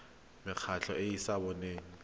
mekgatlho e e sa boneng